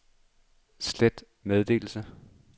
slet meddelelse